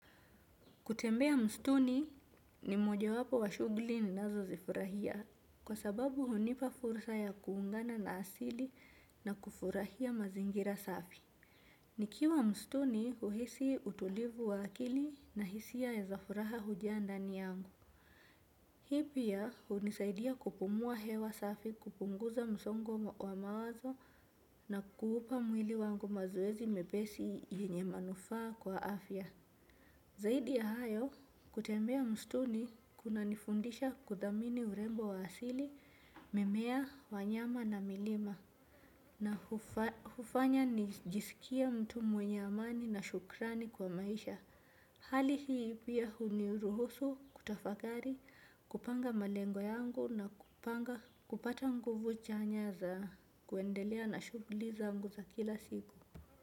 Kutembea msituni ni moja wapo wa shugli ni nazo zifurahia kwa sababu hunipa fursa ya kuungana na asili na kufurahia mazingira safi. Nikiwa mstuni uhisi utulivu wa akili na hisia ya zafuraha hujaa ndani yangu. Hipia hunisaidia kupumua hewa safi kupunguza msongo wa mawazo na kuupa mwili wangu mazoezi mepesi yenye manufaa kwa afya. Zaidi ya hayo kutembea mstuni kuna nifundisha kuthamini urembo wa asili, mimea, wanyama na milima na hufanya nijisikia mtu mwenye amani na shukrani kwa maisha. Hali hii pia huniruhusu kutafakari kupanga malengo yangu na kupanga kupata nguvu chanya za kuendelea na shuguli zangu za kila siku.